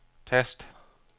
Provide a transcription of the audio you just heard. tast